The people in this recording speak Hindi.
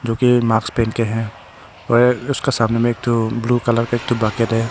जो कि मास्क पहन के है और उसका सामने में एक ठो ब्लू कलर का एक ठो बकेट है।